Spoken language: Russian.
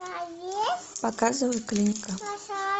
показывай клиника